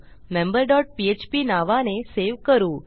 member dot PHP नावाने save करू